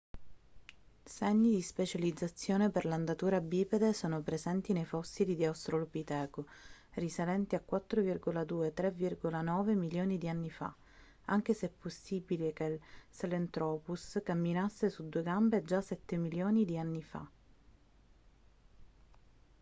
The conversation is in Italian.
segni di specializzazione per l'andatura bipede sono presenti nei fossili di australopiteco risalenti a 4,2-3,9 milioni di anni fa anche se è possibile che il sahelanthropus camminasse su due gambe già sette milioni di anni fa